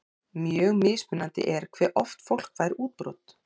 Mjög mismunandi er hve oft fólk fær útbrot.